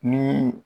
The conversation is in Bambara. Ni